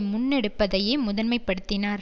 முன்னெடுப்பதையே முதன்மைப்படுத்தினார்